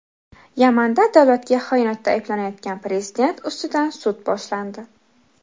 Yamanda davlatga xiyonatda ayblanayotgan prezident ustidan sud boshlandi.